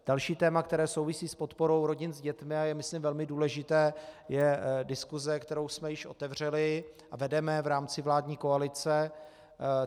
Další téma, které souvisí s podporou rodin s dětmi a je, myslím, velmi důležité, je diskuse, kterou jsme již otevřeli a vedeme v rámci vládní koalice.